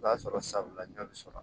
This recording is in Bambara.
O b'a sɔrɔ sabula ɲɔ bɛ sɔrɔ